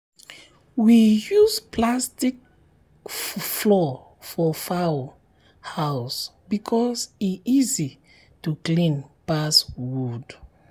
we use plastic plastic floor for fowl house because e easy to clean pass wood.